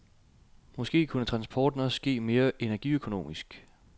Måske kunne transporten også ske mere energiøkonomisk?